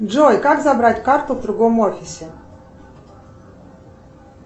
джой как забрать карту в другом офисе